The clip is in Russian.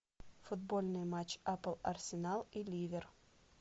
футбольный матч апл арсенал и ливер